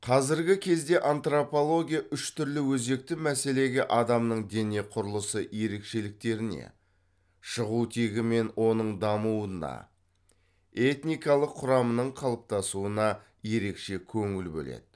қазіргі кезде антропология үш түрлі өзекті мәселеге адамның дене құрылысы ерекшеліктеріне шығу тегі мен оның дамуына этникалық құрамының қалыптасуына ерекше көңіл бөледі